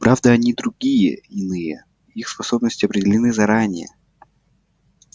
правда они другие иные их способности определены заранее